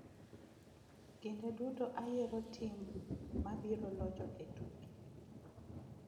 "Kinde duto ayiero tim mabiro locho e tuke.